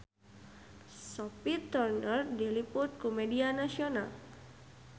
Sophie Turner diliput ku media nasional